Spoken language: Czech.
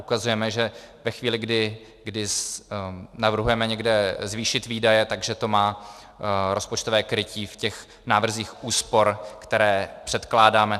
Ukazujeme, že ve chvíli, kdy navrhujeme někde zvýšit výdaje, že to má rozpočtové krytí v těch návrzích úspor, které předkládáme.